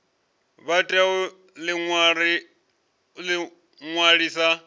vha tea u ḓi ṅwalisa